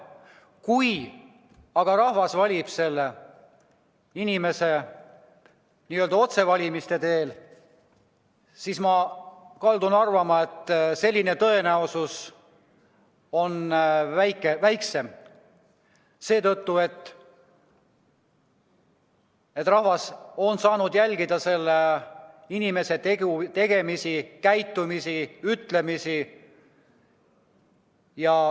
Kui aga rahvas valib selle inimese otsevalimise teel, siis ma kaldun arvama, et selline tõenäosus on väiksem, sest rahvas on saanud jälgida selle inimese tegemisi, käitumist, ütlemisi.